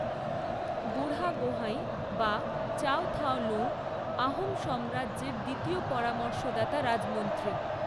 বুঢ়াগোহাঁই বা চাও থাও লৌঙ আহোম সাম্রাজ্যের দ্বিতীয় পরামর্শদাতা রাজমন্ত্রী।